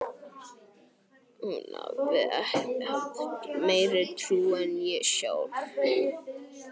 Hún hafði haft meiri trú en ég sjálf.